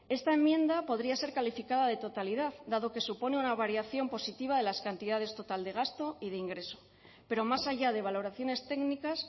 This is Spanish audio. esta enmienda podría ser calificada de totalidad dado que supone una variación positiva de las cantidades total de gasto y de ingreso pero más allá de valoraciones técnicas